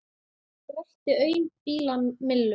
Brölti aum bíla millum.